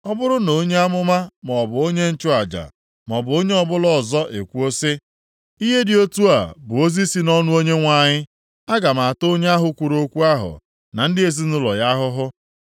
Ọ bụrụ na onye amụma maọbụ onye nchụaja maọbụ onye ọbụla ọzọ ekwuo sị, ‘Ihe dị otu a bụ ozi + 23:34 Maọbụ, okwu si nʼọnụ Onyenwe anyị,’ aga m ata onye ahụ kwuru okwu ahụ na ndị ezinaụlọ ya ahụhụ.